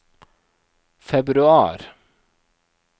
februar